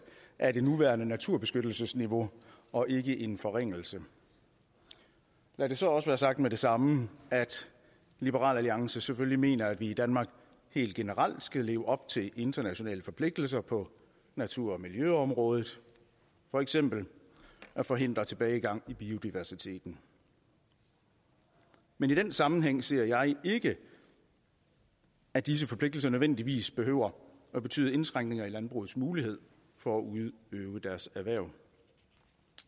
af det nuværende naturbeskyttelsesniveau og ikke en forringelse lad det så også være sagt med det samme at liberal alliance selvfølgelig mener at vi i danmark helt generelt skal leve op til de internationale forpligtelser på natur og miljøområdet for eksempel forhindre tilbagegang i biodiversiteten men i den sammenhæng ser jeg ikke at de forpligtelser nødvendigvis behøver at betyde indskrænkning i landbrugenes muligheder for at udøve deres erhverv